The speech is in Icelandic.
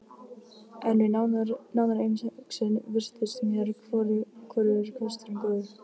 En við nánari umhugsun virtust mér hvorugur kosturinn góður.